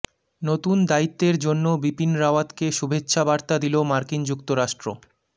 নতুন দায়িত্বের জন্য বিপিন রাওয়াতকে শুভেচ্ছাবার্তা দিল মার্কিন যুক্তরাষ্ট্র